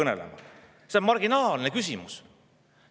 See on marginaalne küsimus!